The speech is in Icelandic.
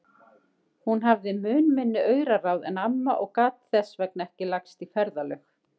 Hún hafði mun minni auraráð en amma og gat þess vegna ekki lagst í ferðalög.